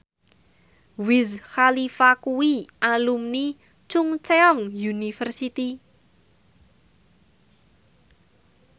Wiz Khalifa kuwi alumni Chungceong University